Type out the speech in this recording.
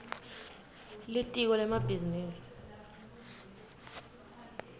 litiko lemabhizinisi